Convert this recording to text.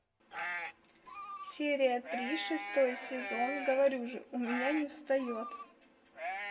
серия три шестой сезон говорю же у меня не встает